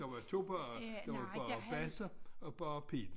Der var 2 bagere der var bager Basse og ager Pihl